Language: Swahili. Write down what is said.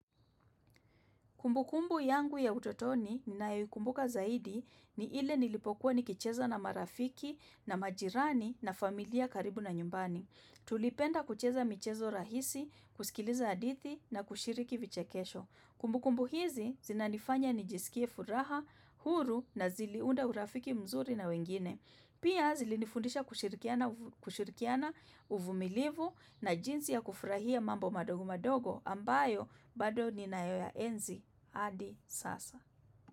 Kumbukumbu yangu ya utotoni ninayoikumbuka zaidi ni ile nilipokuwa nikicheza na marafiki na majirani na familia karibu na nyumbani. Tulipenda kucheza michezo rahisi, kusikiliza hadithi na kushiriki vichekesho. Kumbukumbu hizi zinanifanya nijisikie furaha, huru na ziliunda urafiki mzuri na wengine. Pia zilinifundisha kushirikiana uvumilivu na jinsi ya kufurahia mambo madogo madogo ambayo bado ninaoya enzi. Hadi Sasa.